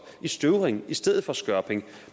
i støvring i stedet for i skørping